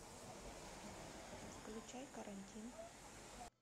включай карантин